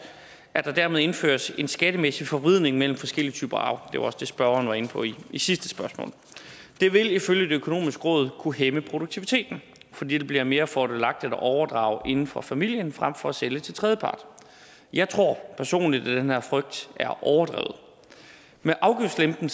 at der dermed indføres en skattemæssig forvridning mellem forskellige typer arv det var også det spørgeren var inde på i sidste spørgsmål det vil ifølge det økonomiske råd kunne hæmme produktiviteten fordi det bliver mere fordelagtigt at overdrage inden for familien frem for at sælge til tredjepart jeg tror personligt at den her frygt er overdrevet med afgiftslempelsen